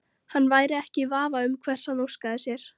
Hann væri ekki í vafa um hvers hann óskaði sér.